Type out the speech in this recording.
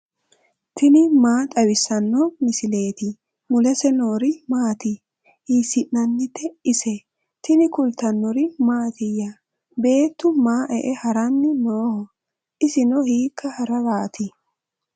tini maa xawissanno misileeti ? mulese noori maati ? hiissinannite ise ? tini kultannori mattiya? beettu maa ee haranni nooho? isinno hiikka hararaati?